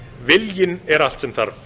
viljinn er allt sem þarf